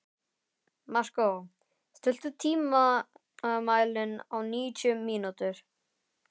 Markó, stilltu tímamælinn á níutíu mínútur.